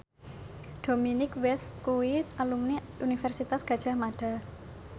Dominic West kuwi alumni Universitas Gadjah Mada